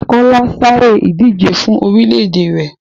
Kọ́lá sáré ìdije fún orílè-èdè rẹ̀.